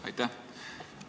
Aitäh!